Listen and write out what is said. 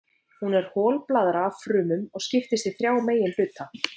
Hún er hol blaðra af frumum og skiptist í þrjá meginhluta.